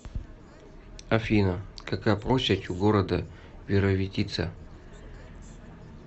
афина какая площадь у города вировитица